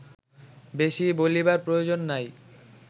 বেশী বলিবার প্রয়োজন নাই